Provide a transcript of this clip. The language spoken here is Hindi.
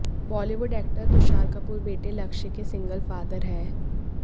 बॉलीवुड एक्टर तुषार कपूर बेटे लक्ष्य के सिंगल फादर हैं